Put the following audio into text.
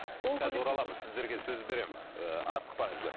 қазір ораламыз сіздерге сөз беремін ы асықпаңыздар